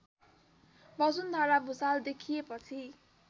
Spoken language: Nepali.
वसुन्धरा भुसाल देखिएपछि